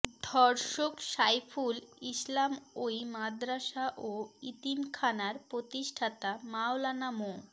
ধর্ষক সাইফুল ইসলাম ওই মাদ্রাসা ও এতিমখানার প্রতিষ্ঠাতা মাওলানা মো